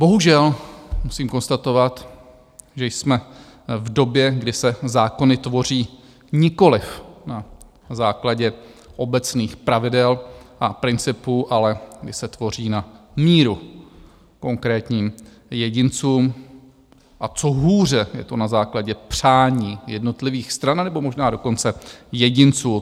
Bohužel musím konstatovat, že jsme v době, kdy se zákony tvoří nikoliv na základě obecných pravidel a principů, ale kdy se tvoří na míru konkrétním jedincům, a co hůře, je to na základě přání jednotlivých stran, nebo možná dokonce jedinců.